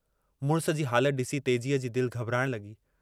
मुड़िस जी हालत डिसी तेजी जी दिल घबराइण लगी।